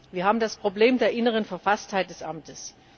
Wir haben das Problem der inneren Verfasstheit des Amtes.